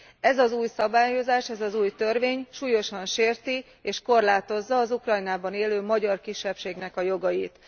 Ez az új szabályozás, ez az új törvény súlyosan sérti és korlátozza az Ukrajnában élő magyar kisebbségnek a jogait.